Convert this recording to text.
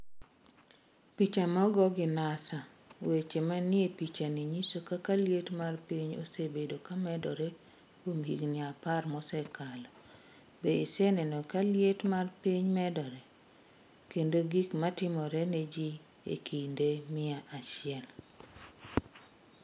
Piche mogo gi NASA Weche manie pichani nyiso kaka liet mar piny osebedo ka medore kuom higini apar mosekalo. Be iseneno ka liet mar piny medore? kendo gik matimore ne ji e kinde mia chiel.